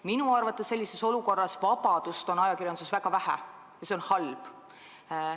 Minu arvates on sellises olukorras vabadust ajakirjanduses väga vähe ja see on halb.